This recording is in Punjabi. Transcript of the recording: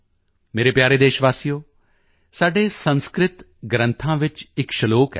ਮੇਰੇ ਪਿਆਰੇ ਦੇਸ਼ਵਾਸੀਓ ਸਾਡੇ ਸੰਸਕ੍ਰਿਤ ਗ੍ਰੰਥਾਂ ਵਿੱਚ ਇੱਕ ਸਲੋਕ ਹੈ